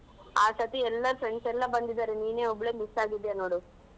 ಆ ಸರ್ತಿ ಎಲ್ಲ friends ಎಲ್ಲ ಬಂದಿದ್ದಾರೆ ನೀನೆ ಒಬ್ಬ್ಳೇ miss ಆಗಿದ್ದಿಯಾ ನೋಡು.